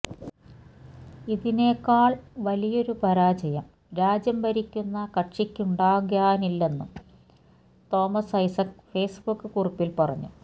ഇതിനേക്കാൾ വലിയൊരു പരാജയം രാജ്യം ഭരിക്കുന്ന കക്ഷിക്കുണ്ടാകാനില്ലെന്നും തോമസ് ഐസക്ക് ഫേസ്ബുക്ക് കുറിപ്പിൽ പറഞ്ഞു